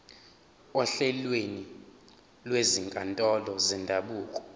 ohlelweni lwezinkantolo zendabuko